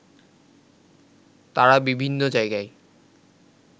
তারা বিভিন্ন জায়গায়